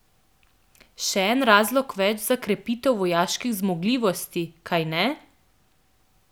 Še en razlog več za krepitev vojaških zmogljivosti, kajne?